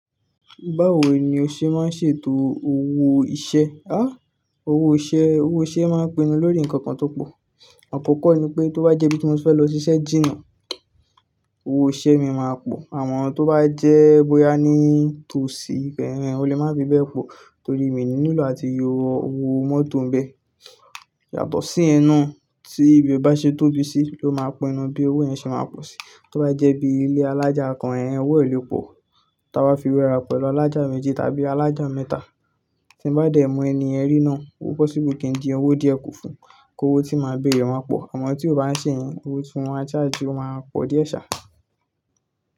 Báwo ni o ṣe máa ń ṣètò owó iṣẹ́? Há! Owó iṣẹ́, owó iṣẹ́ máa ń pinnu lórí nǹkan kan tó pọ̀. Akọkọ ni pé tó bá jẹ́ bí mo fẹ́ lọ ṣiṣẹ́ jìnà, owó iṣẹ́ mi máa pọ̀. Amọ tó bá jẹ́ bóyá ní tòsí, o lè má fi bẹ́ẹ̀ pọ̀ torí mi ni nilo àti yọ owó mọ́tò ń bẹ. Yàtọ̀ si yẹn naa, tí ibẹ bá ṣe tóbi sí ló máa pinu, bí owó yẹn ṣe máa pọ̀ sí. Tó bá jẹ́ bí ilé alájà kan, ẹ́h ẹ́n, owó ẹ o le pọ̀. Tí a bá fi wé ara pẹ̀lú alájà méjì tàbí alájà mẹ́ta, tí ń bá dẹ̀ mú ẹni ẹ rí náà, owó possible kì í di owó díẹ̀ kò fún un, kí owó tí máa béèrè ó máa pọ̀. Àmọ tí ó bá ń ṣe yẹn, owó tí mo má charge, ó máa pọ̀ díẹ̀ sá.